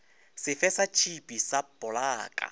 sefe sa tšhipi sa polaka